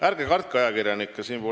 Ärge kartke ajakirjanikke!